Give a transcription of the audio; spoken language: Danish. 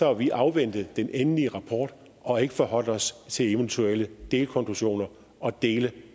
har vi afventet den endelige rapport og ikke forholdt os til eventuelle delkonklusioner og dele